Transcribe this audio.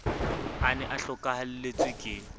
a ne a hlokahelletswe ke